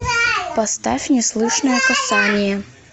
поставь неслышное касание